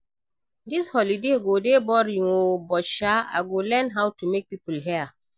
Dis holiday go dey boring oo but sha I go learn how to make people hair